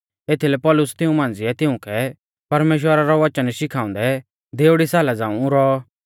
एथीलै पौलुस तिऊं मांझ़िऐ तिउंकै परमेश्‍वरा रौ वचन शिखाउंदै देउड़ी साला झ़ांऊ रौऔ